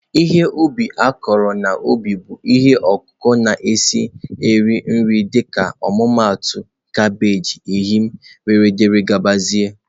Ihe ubi a kụrụ n'ubi bụ ihe ọkụkụ na-esi eri nri dịka ọmụmaatụ kabeeji, eyịm wdg